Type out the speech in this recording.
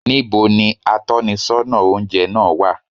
Ní bo ni atónisọ́nà oúnjẹ náà wà?